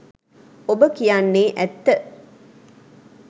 ඔබ කියන්නේ ඇත්ත '